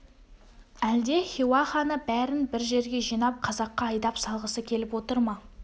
әлде хиуа ханы бәрін бір жерге жинап қазаққа айдап салғысы келіп отыр ма